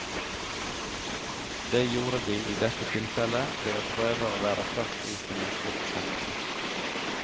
Det gjorde de i dette tilfellet, ved å prøve å være først ute med sportssendinger.